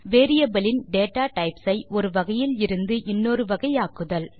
variable இன் data types ஐ ஒரு வகையில் இருந்து இன்னொரு வகை ஆக்குதல்